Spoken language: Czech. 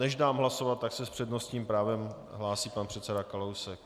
Než dám hlasovat, tak se s přednostním právem hlásí pan předseda Kalousek.